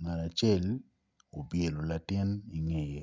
ngat acel opyelo latin i ngeye